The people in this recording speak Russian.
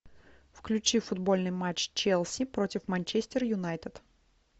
включи футбольный матч челси против манчестер юнайтед